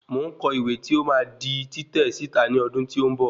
Mo ń kọ ìwé tí ó máa di títẹ̀ síta ní ọdún tí ó ń bọ̀